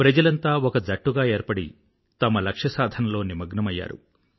ప్రజలంతా ఒక జట్టుగా ఏర్పడి తమ లక్ష్య సాధనలో నిమగ్నమయ్యారు